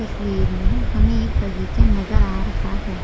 तस्वीर में हमें एक बगीचा नजर आ रहा है।